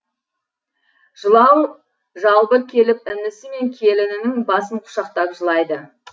жылау жалбыр келіп інісі мен келінінің басын құшақтап жылайды